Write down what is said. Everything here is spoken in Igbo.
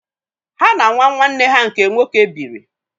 Há na nwa nwanne ha nke nwoke bíírì